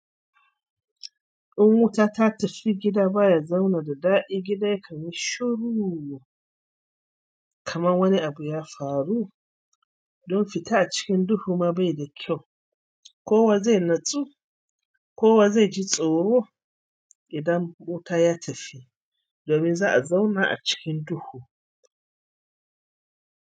In wuta ta tafi gida baya zauna da daɗi, gida ya kan yi shuru kamar wani abu ya faru. Don fita a cikin duhu ma bai da kyau, kowa zai natsu, kowa zai ji tsoro idan wuta ya tafi domin za'a zauna a cikin duhu.